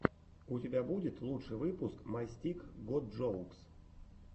у тебя будет лучший выпуск май стик гот джоукс